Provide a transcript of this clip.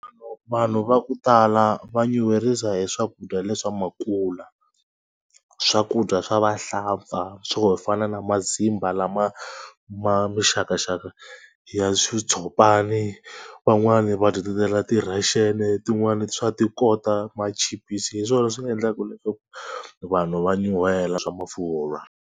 Vanhu va ku tala va nyuherisa hi swakudya leswa makula. Swakudya swa vahlampfa swo fana na mazimba lama ma mixakaxaka ya swi xitshopani, van'wani va dyetetela ti-russian, tin'wani swa ti kota, machipisi hi swona leswi nga endlaka leswaku vanhu va nyuhela swa mafurha.